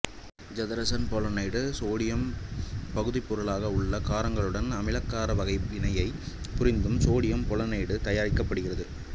ஐதரசன் polonide sodium பகுதிப்பொருளாக உள்ள காரங்களுடன் அமிலக்கார வகை வினை புரிந்தும் சோடியம் பொலோனைடு தயாரிக்கப்படுகிறது